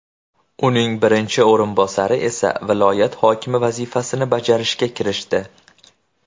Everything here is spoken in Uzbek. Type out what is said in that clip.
Uning birinchi o‘rinbosari esa viloyat hokimi vazifasini bajarishga kirishdi .